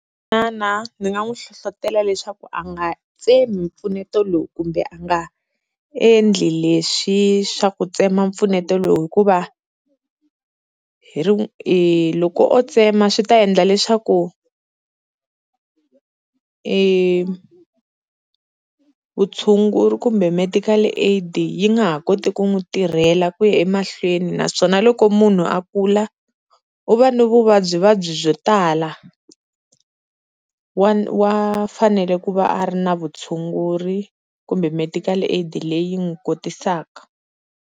Manana ndzi nga n'wi hlohlotelo leswaku a nga tsemi mpfuneto lowu kumbe a nga endli leswi swa ku tsema mpfuneto lowu, hikuva hi ri loko o tsema swi ta endla leswaku, vutshunguri kumbe medical aid yi nga ha koti ku n'wi tirhela ku ya emahlweni naswona loko munhu a kula u va ni vuvabyivabyi byo tala, wa wa fanele ku va a ri na vutshunguri kumbe medical aid leyi n'wi kotisaka.